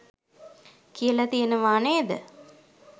කියල තියනවා නේද?